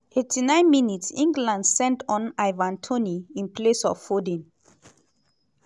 89 mins - england send on ivan toney in place of foden.